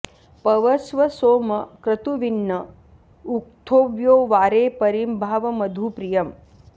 पव॑स्व सोम क्रतु॒विन्न॑ उ॒क्थ्योऽव्यो॒ वारे॒ परि॑ धाव॒ मधु॑ प्रि॒यम्